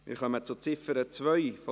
Wir stimmen über die Ziffer 2 ab: